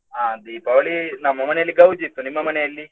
ಅಹ್ Deepavali ನಮ್ಮ ಮನೆಯಲ್ಲಿ ಗೌಜಿ ಇತ್ತು, ನಿಮ್ಮ ಮನೆಯಲ್ಲಿ?